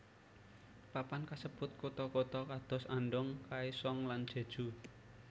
Papan kasebut kutha kutha kados Andong Kaesong lan Jeju